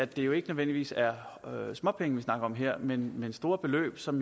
det jo ikke nødvendigvis er småpenge vi snakker om her men store beløb som